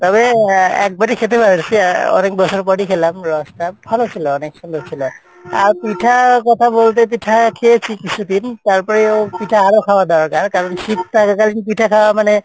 তবে একবারই খেতে পারসি আহ অনেক বছর পরই খেলাম রস টা ভালো ছিলো অনেক সুন্দর ছিল আর পিঠা কথা বলতে পিঠা খেয়েছি কিছুদিন তারপরেও পিঠা আরো খাওয়া দরকার কারন শীত থাকাকালীন পিঠা খাওয়া মানে